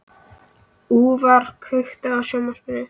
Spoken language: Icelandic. Úlfar, kveiktu á sjónvarpinu.